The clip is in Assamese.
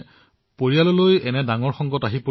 হয় আমি প্ৰত্যেকেই প্ৰত্যেকক সাহস দিছিলো